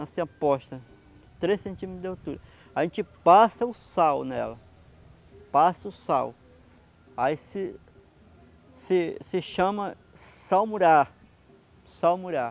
assim, aposta três centímetros de altura aí a gente passa o sal nela passa o sal aí se... se se se chama salmurar salmurar